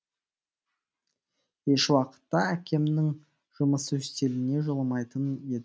ешуақытта әкемнің жұмыс үстеліне жоламайтын едім